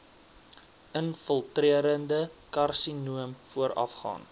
infiltrerende karsinoom voorafgaan